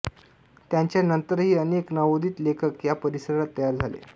त्यांच्यानंतरही अनेक नवोदित लेखक या परिसरात तयार झाले